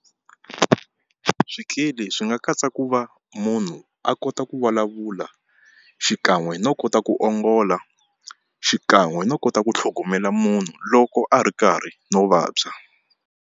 Swikili swi nga katsa ku va munhu a kota ku vulavula xikan'we no kota ku ongola xikan'we no kota ku tlhogomela munhu loko a ri karhi no vabya.